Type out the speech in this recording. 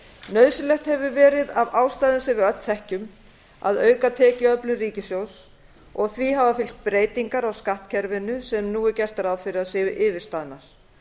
nauðsynlegt hefur verið af ástæðum sem við öll þekkjum að auka tekjuöflun ríkissjóðs og því hafa fylgt breytingar á skattkerfinu sem nú er gert ráð fyrir að séu yfirstaðnar